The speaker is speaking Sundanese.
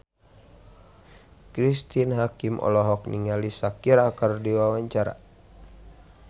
Cristine Hakim olohok ningali Shakira keur diwawancara